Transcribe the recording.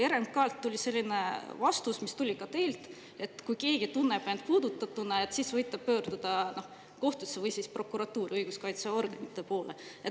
RMK‑lt tuli selline vastus, mis tuli ka teilt, et kui keegi tunneb end puudutatuna, siis võib ta pöörduda kohtusse või prokuratuuri ehk õiguskaitseorganite poole.